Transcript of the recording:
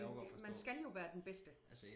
Men det man skal jo være den bedste